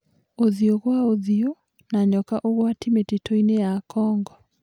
ũthiũ gwa ũthiũ na nyoka ũgwati mĩtitũinĩ ya Kongo.